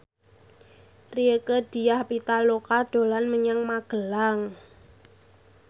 Rieke Diah Pitaloka dolan menyang Magelang